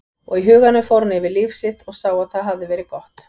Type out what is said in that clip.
Og í huganum fór hann yfir líf sitt og sá að það hafði verið gott.